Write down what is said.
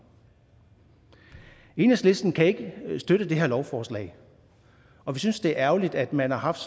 enhedslisten kan ikke støtte det her lovforslag og vi synes det er ærgerligt at man har haft